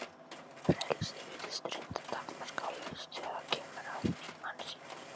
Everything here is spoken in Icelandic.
Frelsið virðist reyndar takmarkalaust þegar kemur að hugsun mannsins.